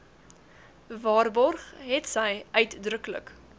waarborg hetsy uitdruklik